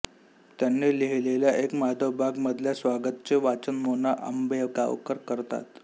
त्यांनी लिहिलेल्या एक माधव बाग मधल्या स्वगताचे वाचन मोना आंबेगावकर करतात